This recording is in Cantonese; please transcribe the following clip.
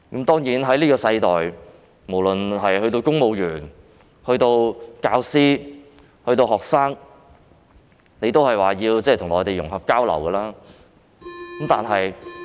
當然，在現今世代，無論是公務員、教師或學生都必須與內地融合交流。